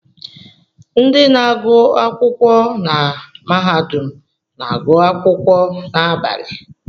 Ndị na-agụ akwụkwọ na mahadum na-agụ akwụkwọ n'abalị